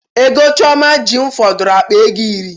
Ego Chioma ji m fọdụrụ akpa ego iri